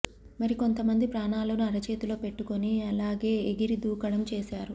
మరికొంత మంది ప్రాణాలను అరచేతిలో పెట్టికొని అలాగే ఎగిరి దూకడం చేశారు